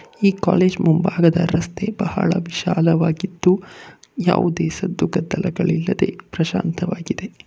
ಈ ಕಾಲೇಜ್ ಮುಂಭಾಗದ ರಸ್ತೆ ಬಹಳ ವಿಶಾಲವಾಗಿದ್ದು ಯಾವುದೇ ಸದ್ದು ಗದ್ದಲಗಳಿಲ್ಲದೆ ಪ್ರಶಾಂತವಾಗಿದೆ.